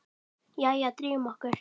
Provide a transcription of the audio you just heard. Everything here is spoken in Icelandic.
Jæja, drífum okkur!